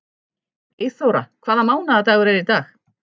Eyþóra, hvaða mánaðardagur er í dag?